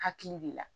Hakili de la